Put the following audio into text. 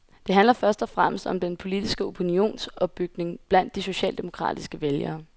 Det handler først og fremmest om den politiske opinionsopbygning blandt de socialdemokratiske vælgere.